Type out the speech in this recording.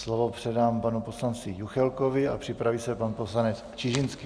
Slovo předám panu poslanci Juchelkovi a připraví se pan poslanec Čižinský.